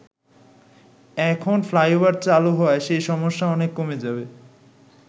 এখন ফ্লাইওভার চালু হওয়ায় সেই সমস্যা অনেক কমে যাবে।